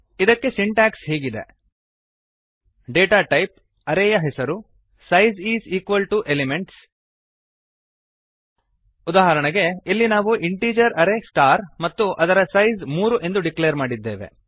ಇದಕ್ಕೆ ಸಿಂಟ್ಯಾಕ್ಸ್ ಹೀಗಿದೆ160 data type array ಯ ಹೆಸರು size is equal to elements ಉದಾಹರಣೆಗೆ ಇಲ್ಲಿ ನಾವು ಇಂಟಿಜರ್ ಅರೇ ಸ್ಟಾರ್ ಮತ್ತು ಅದರ ಸೈಸ್ ಮೂರು ಎಂದು ಡಿಕ್ಲೇರ್ ಮಾಡಿದ್ದೇವೆ